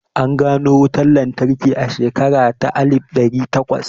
An gano wutan lantarki a shekara ta alif ɗari takwas